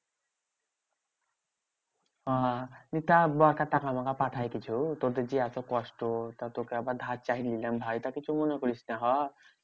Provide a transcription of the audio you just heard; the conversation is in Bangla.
ওহ তা বড়কা টাকা পাকা পাঠায় কিছু? তোদের যে এত কষ্ট? তা তোকে আবার ধার চাই নিলাম ভাই। তা কিছু মনে করিস না হ।